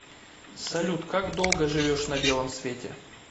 салют как долго живешь на белом свете